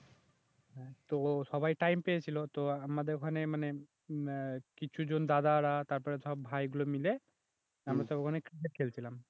তো সবাই টাইম পেয়েছিল তো আমাদের ওখানে মানে আহ কিছু জন দাদারা তারপর সব ভাইগুলো মিলে আমরা সব ওখানে ক্রিকেট খেলছিলাম